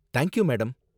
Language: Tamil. thank you, madam